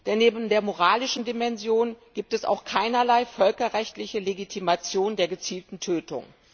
Denn neben der moralischen Dimension gibt es auch keinerlei völkerrechtliche Legitimation der gezielten Tötung.